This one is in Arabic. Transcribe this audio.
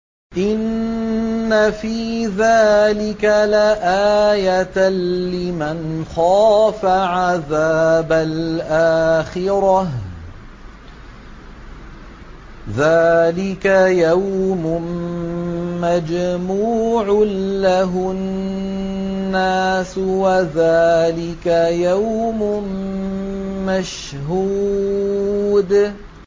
إِنَّ فِي ذَٰلِكَ لَآيَةً لِّمَنْ خَافَ عَذَابَ الْآخِرَةِ ۚ ذَٰلِكَ يَوْمٌ مَّجْمُوعٌ لَّهُ النَّاسُ وَذَٰلِكَ يَوْمٌ مَّشْهُودٌ